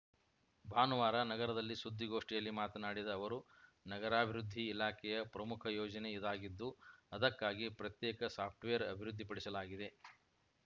ಭಾನುವಾರ ನಗರದಲ್ಲಿ ಸುದ್ದಿಗೋಷ್ಠಿಯಲ್ಲಿ ಮಾತನಾಡಿದ ಅವರು ನಗರಾಭಿವೃದ್ಧಿ ಇಲಾಖೆಯ ಪ್ರಮುಖ ಯೋಜನೆ ಇದಾಗಿದ್ದು ಅದಕ್ಕಾಗಿ ಪ್ರತ್ಯೇಕ ಸಾಫ್ಟ್‌ವೇರ್‌ ಅಭಿವೃದ್ಧಿಪಡಿಸಲಾಗಿದೆ